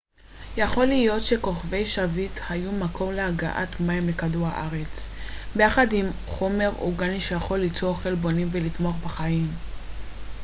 יכול להיות שכוכבי שביט היו מקור להגעת מים לכדור הארץ ביחד עם חומר אורגני שיכול ליצור חלבונים ולתמוך בחיים